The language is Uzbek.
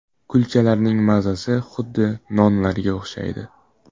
Kulchalarning mazasi xuddi nonlarga o‘xshaydi.